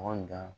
Anw dan